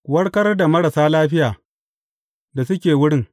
Ku warkar da marasa lafiya da suke wurin.